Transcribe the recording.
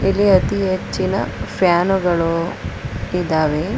ಇಲ್ಲಿ ಅತೀ ಹೆಚ್ಚಿನ ಫ್ಯಾನುಗಳು ಇದಾವೆ.